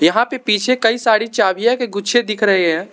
यहां पर पीछे कई साड़ी चाबियां के गुच्छे दिख रहे हैं।